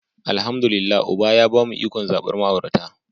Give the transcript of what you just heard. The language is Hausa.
Alhamdu lillahi uba ya bamu ikon zabar ma'aurata.